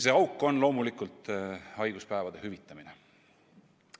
See auk on loomulikult haiguspäevade hüvitamine.